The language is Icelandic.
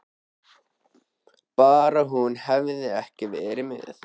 Bara hún hefði ekki verið með.